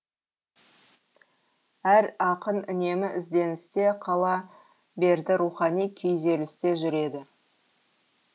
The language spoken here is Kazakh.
әр ақын үнемі ізденісте қала берді рухани күйзелісте жүреді